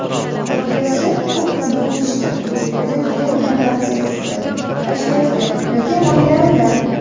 Foydasi u qiladigan ishda, yaratadigan innovatsiyasida, kashfiyotida yoki g‘oyalarida.